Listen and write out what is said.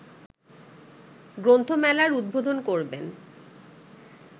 গ্রন্থমেলার উদ্বোধন করবেন